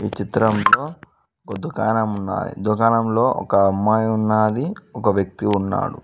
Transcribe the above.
ఈ చిత్రంలో ఒక దుకాణం ఉన్నది దుకాణంలో ఒక అమ్మాయి ఉన్నది ఒక వ్యక్తి ఉన్నాడు.